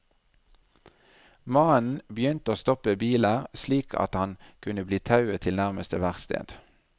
Mannen begynte å stoppe biler slik at han kunne bli tauet til nærmeste verksted.